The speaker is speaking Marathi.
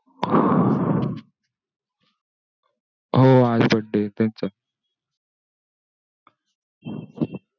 हो आज birthday आहे त्यांचा.